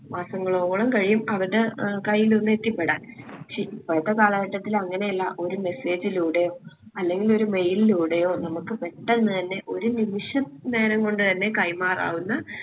മാസങ്ങളോളം കഴിയും അവരുടെ ഏർ കയ്യിലൊന്ന് എത്തിപ്പെടാൻ. പക്ഷെ ഇപ്പോഴത്തെ കാലഘട്ടത്തിൽ അങ്ങനെയല്ല ഒരു message ഇലൂടെയോ അല്ലെങ്കിലൊരു mail ഇലൂടെയോ നമ്മുക്ക് പെട്ടെന്ന് തന്നെ ഒരു നിമിഷ നേരം കൊണ്ടെന്നെ കൈമാറാവുന്ന